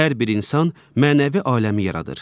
Hər bir insan mənəvi aləmi yaradır.